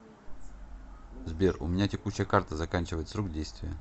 сбер у меня текущая карта заканчивает срок действия